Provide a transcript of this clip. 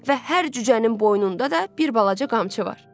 Və hər cücənin boynunda da bir balaca qamçı var.